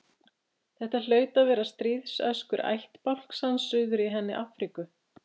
Þetta hlaut að vera stríðsöskur ættbálks hans suður í henni Afríku.